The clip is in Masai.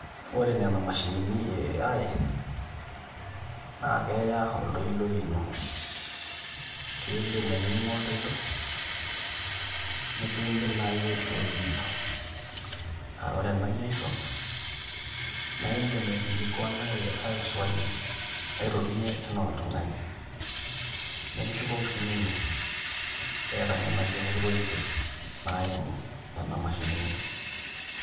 Ore nena mashinini e AI naa keya oltoilo lino kiidim ainining'o oltoilo nikiindim naai aishoo jibu aa ore enajoito naa iindim aikilikuana AI jibu airorie enaa oltung'ani nikishukoki sininye eeta nena genaration voices naimu imashinini.